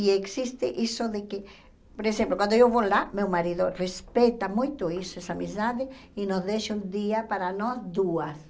E existe isso de que, por exemplo, quando eu vou lá, meu marido respeita muito isso, essa amizade, e nos deixa um dia para nós duas.